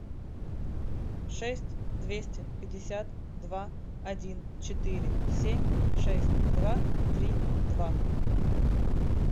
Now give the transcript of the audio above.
шесть двести пятьдесят два один четыре семь шесть два три два